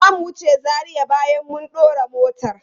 Zamu wuce Zaria bayan mun dora motar.